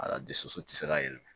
Ala dusu tɛ se ka yɛlɛma